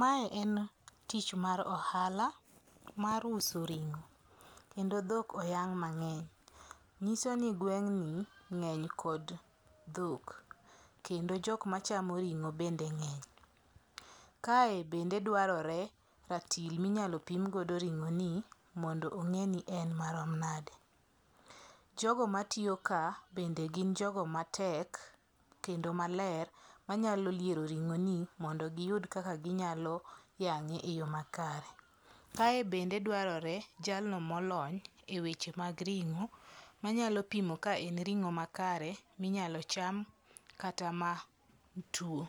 Mae en tich mar ohala mar uso ring'o. Kendo dhok oyang' mang'eny. Nyiso ni gweng'ni ng'eny kod dhok. Kendo jok machamo ring'o bende ng'eny. Kae bende dwarore ratil michalo pim godo ring'o ni mondo ong'e ni en marom nade. Jogo matiyo ka bende gin jogo matek kendo maler manyalo liero ring'o ni mondo giyud kaka ginyalo yang'e e yo makare. Kae bende dwarore jalno molony e weche mag ring'o manyalo pimo ka en ring'o makare minyalo cham kata ma tuo.